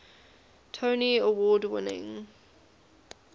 tony award winning